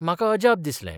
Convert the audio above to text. म्हाका अजाप दिसलें.